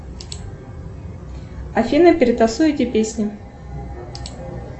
афина перетасуй эти песни